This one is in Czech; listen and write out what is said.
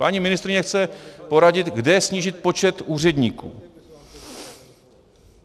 Paní ministryně chce poradit, kde snížit počet úředníků.